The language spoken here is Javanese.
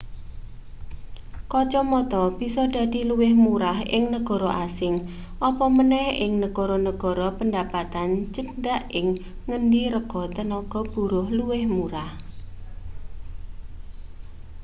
kacamata bisa dadi luwih murah ing negara asing apa maneh ing negara-negara pendapatan cendhak ing ngendi rega tenaga buruh luwih murah